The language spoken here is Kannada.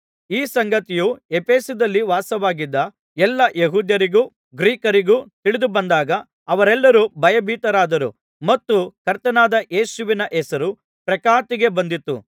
ಈ ಸಂಗತಿಯು ಎಫೆಸದಲ್ಲಿ ವಾಸವಾಗಿದ್ದ ಎಲ್ಲಾ ಯೆಹೂದ್ಯರಿಗೂ ಗ್ರೀಕರಿಗೂ ತಿಳಿದುಬಂದಾಗ ಅವರೆಲ್ಲರೂ ಭಯಭೀತರಾದರು ಮತ್ತು ಕರ್ತನಾದ ಯೇಸುವಿನ ಹೆಸರು ಪ್ರಖ್ಯಾತಿಗೆ ಬಂದಿತು